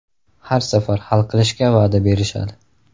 Har safar hal qilishga va’da berishadi.